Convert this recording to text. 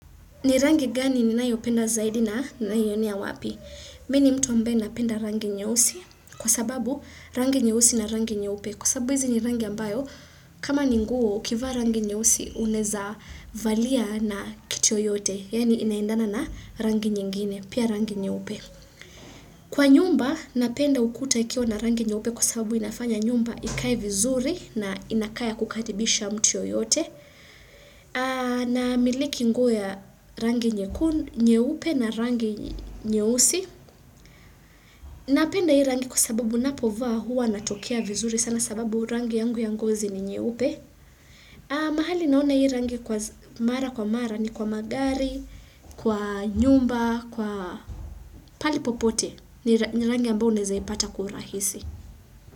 Ni rangi gani ninayopenda zaidi na naionea wapi? Mini mtu ambaye napenda rangi nyeusi kwa sababu rangi nyeusi na rangi nyeupe. Kwa sababu hizi ni rangi ambayo kama ni nguo ukivaa rangi nyeusi uneza valia na kitu yoyote. Yaani inaendana na rangi nyingine, pia rangi nyeupe. Kwa nyumba, napenda ukuta ikiwa na rangi nyeupe kwa sababu inafanya nyumba ikae vizuri na inakaa ya kukaribisha mtu yoyote. Namiliki nguo ya rangi nyeupe na rangi nyeusi Napenda hii rangi kwa sababu napovaa hua natokea vizuri sana sababu rangi yangu ya ngozi ni nyeeupe mahali naona hii rangi kwa mara kwa mara ni kwa magari, kwa nyumba, kwa pahali popote ni rangi ambao unaezaipata kwa urahisi.